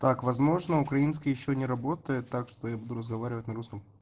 так возможно украинский ещё не работает так что я буду разговаривать на русском